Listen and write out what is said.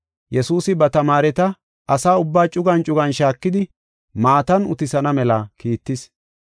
Yesuusi ba tamaareta asa ubbaa cugan cugan shaakidi maatan utisana mela kiittis.